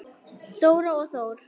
Dóra og Þór.